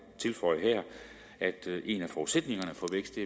tilføje her at en af forudsætningerne for vækst det